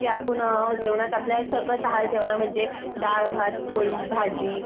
आपण जेवणात आपल्या सकस आहार ठेवावा म्हणजे डाळ, भात, पोळी, भाजी